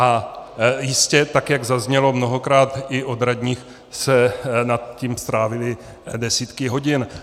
A jistě, tak jak zaznělo mnohokrát i od radních, tak nad tím strávili desítky hodin.